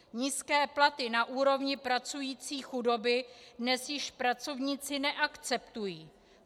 Nízké platy na úrovni pracující chudoby dnes již pracovníci neakceptují.